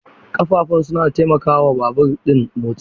Ƙafafun suna taimaka wa babur ɗin motsi.